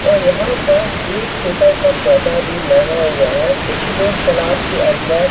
और यहां पर एक छोटा सा पौधा भी लगा हुआ है कुछ लोग तालाब के अंदर--